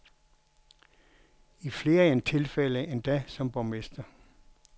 I flere tilfælde endda som borgmester.